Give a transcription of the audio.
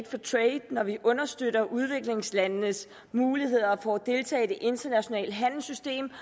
når vi understøtter udviklingslandenes muligheder for at deltage i det internationale handelssystem